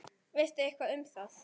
Veistu eitthvað um það?